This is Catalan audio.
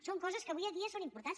són coses que avui dia són importants